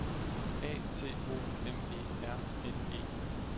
A T O M E R N E